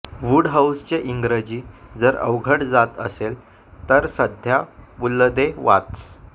वुडहाऊसचे इंग्रजी जर अवघड जात असेल तर सद्ध्या पुलदे वाच